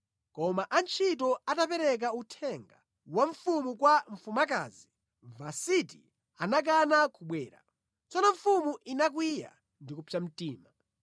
Koma antchito atapereka uthenga wa mfumu kwa mfumukazi, Vasiti anakana kubwera. Tsono mfumu inakwiya ndi kupsa mtima.